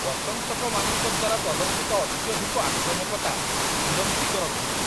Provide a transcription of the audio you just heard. ପ୍ରଶଂସକମାନଙ୍କ ଦ୍ୱାରା ପ୍ରଦର୍ଶିତ ଅତ୍ୟଧିକ ଆକ୍ରାମକତା ବିରକ୍ତିକର ଥିଲା।